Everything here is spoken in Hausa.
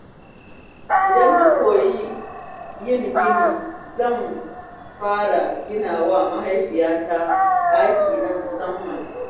Idan na koyi yin gini, zan fara ginawa mahaifiyata ɗaki na musamman.